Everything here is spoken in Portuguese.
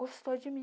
Gostou de mim.